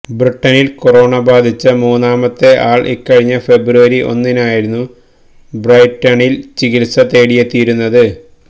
ബ്രിട്ടനില് corona ബാധിച്ച മൂന്നാമത്തെ ആള് ഇക്കഴിഞ്ഞ ഫെബ്രുവരി ഒന്നിനായിരുന്നു ബ്രൈറ്റണില് ചികിത്സ തേടിയെത്തിയിരുന്നത്